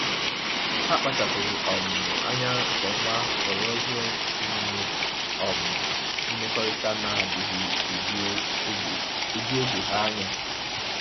Ha kpachapụrụ um anya nke ọma họrọ ihe omume um mmekọrịta na-adịghị eju oge eju oge ha anya.